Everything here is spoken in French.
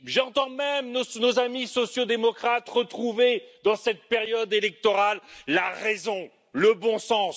J'entends même nos amis sociaux démocrates retrouver, dans cette période électorale, la raison, le bon sens.